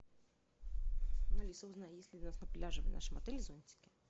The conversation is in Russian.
алиса узнай есть ли у нас на пляже в нашем отеле зонтики